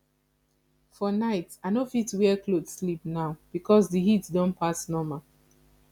for night i no fit wear cloth sleep now because the heat don pass normal